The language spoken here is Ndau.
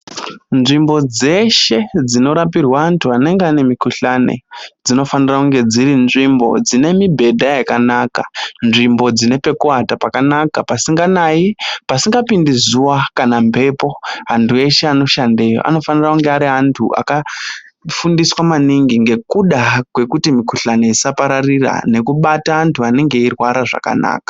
Nzvimbo dzeshe dzinorapirwe vanenge vane mikhuhlane dzinofanire kunge dziri nzvimbo dzine mibhedha yakanaka, nzvimbo dzine pekuata pakanaka pasinganayi, pasingapindi zuva kana mhepo. Antu ese anoshandeyo anofane kunge ari antu akafundiswa maningi ngekuda kwekuti mikhuhlanen isapararire nekubata antu anenge eirwara zvakanaka.